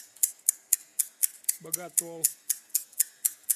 боготол